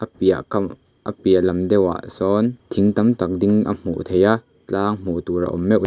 piah kam a piah lam deuhah sawn thing tam tak ding a hmuh theih a tlang hmuh tur a awm meuh--